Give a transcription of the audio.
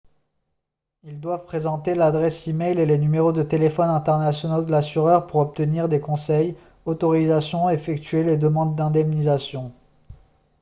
ils doivent présenter l'adresse e-mail et les numéros de téléphone internationaux de l'assureur pour obtenir des conseils/autorisations et effectuer les demandes d'indemnisation